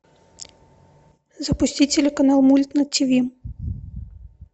запусти телеканал мульт на тиви